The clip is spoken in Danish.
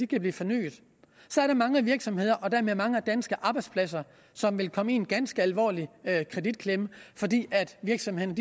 kan blive fornyet er der mange virksomheder og dermed mange danske arbejdspladser som ville komme i en ganske alvorlig kreditklemme fordi virksomhederne